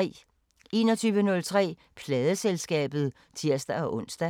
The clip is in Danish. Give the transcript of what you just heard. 21:03: Pladeselskabet (tir-ons)